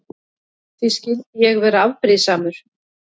Því skyldi ég vera afbrýðisamur?